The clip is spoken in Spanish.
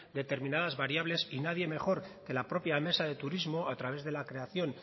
determinados variables y nadie mejor que la propia mesa de turismo a través de la creación